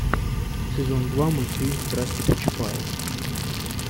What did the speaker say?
сезон два мультфильм страсти по чапаю